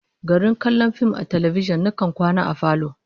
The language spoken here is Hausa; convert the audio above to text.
Garin kallon fim a talbijin, nakan kwana a falo